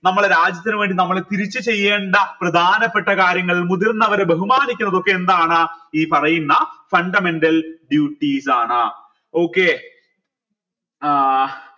നമ്മുടെ രാജ്യത്തിന് വേണ്ടി നമ്മൾ തിരിച്ചു ചെയ്യേണ്ട പ്രധാനപ്പെട്ട കാര്യങ്ങൾ മുതിർന്നവരെ ബഹുമാനിക്കുന്നതൊക്കെ എന്താണ് ഈ പറയുന്ന fundamental duties ആണ് okay ഏർ